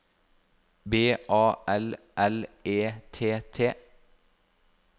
B A L L E T T